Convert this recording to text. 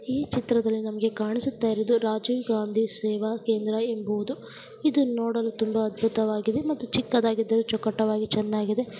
ಈ ಚಿತ್ರದಲ್ಲಿ ನಮಗೆ ಕಾಣಿಸುತ್ತಿರುವುದು ರಾಜೀವ್ ಗಾಂಧಿ ಸೇವಾ ಕೇಂದ್ರ ಎಂಬುವುದು ಇದನ್ನು ನೋಡಲು ತುಂಬಾ ಅದ್ಭುತವಾಗಿದೆ ಮತ್ತು ಚಿಕ್ಕದಾಗಿದರೂ ಚೊಕ್ಕಟವಾಗಿ ಚೆನ್ನಾಗಿದೆ.